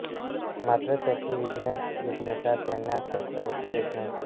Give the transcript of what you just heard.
मात्र त्यांची विज्ञानजिज्ञासा त्यांना स्वस्थ बसू देत नव्हती